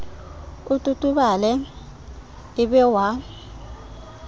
o totobale e be wa